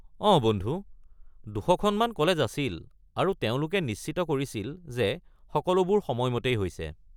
অঁ বন্ধু, ২০০খনমান কলেজ আছিল আৰু তেওঁলোকে নিশ্চিত কৰিছিল যে সকলোবোৰ সময়মতেই হৈছে।